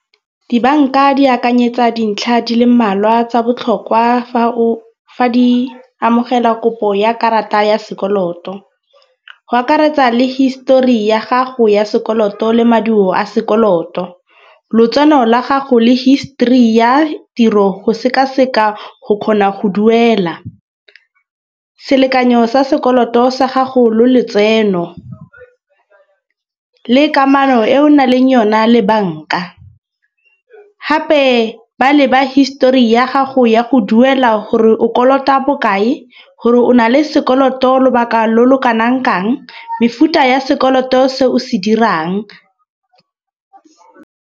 Dibanka di akanyetsa dintlha di le mmalwa tsa botlhokwa fa o, fa di amogela kopo ya karata ya sekoloto. Go akaretsa le histori ya gago ya sekoloto le maduo a sekoloto, lotseno la gago le history ya tiro go sekaseka go kgona go duela, selekanyo sa sekoloto sa gago lo letseno le kamano e o naleng yona le banka. Gape ba leba histori ya gago ya go duela gore o kolota bokae gore o na le sekoloto lobaka lo lo kanang kang, mefuta ya sekoloto se o se dirang.